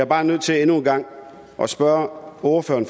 bare nødt til endnu en gang at spørge ordføreren